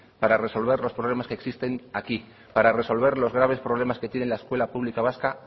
para resolver los problemas que existen aquí para resolver los graves problemas que tiene la escuela pública vasca